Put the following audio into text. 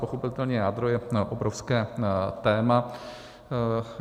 Pochopitelně jádro je obrovské téma.